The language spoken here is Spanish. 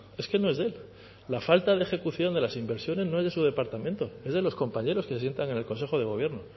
es que no es de él la falta de ejecución de las inversiones no es de su departamento es de los compañeros que se sientan en el consejo de gobierno